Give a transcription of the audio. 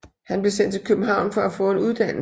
Han blev sendt til København for at få en uddannelse